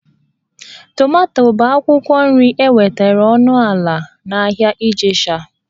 Tomato bụ akwụkwọ nri enwetara ọnụ ala n'ahịa Ijesha